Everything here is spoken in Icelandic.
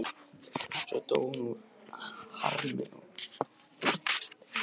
Hún dó svo úr harmi og hugarangri, segir Jón.